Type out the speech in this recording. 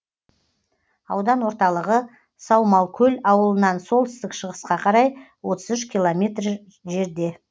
аудан орталығы саумалкөл ауылынан солтүстік шығысқа қарай отыз үш километр ей жерде